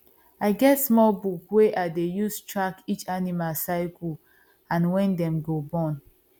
i get small book wey i dey use track each animal cycle and when dem go born